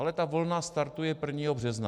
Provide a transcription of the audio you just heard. Ale ta vlna startuje 1. března.